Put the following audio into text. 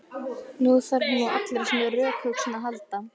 Nú þarf hún á allri sinni rökhugsun að halda.